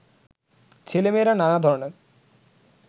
ছেলেমেয়েরা নানা ধরনের